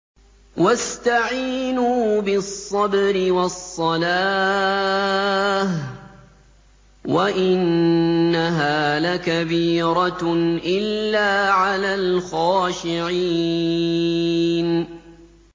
وَاسْتَعِينُوا بِالصَّبْرِ وَالصَّلَاةِ ۚ وَإِنَّهَا لَكَبِيرَةٌ إِلَّا عَلَى الْخَاشِعِينَ